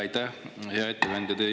Aitäh, hea ettekandja!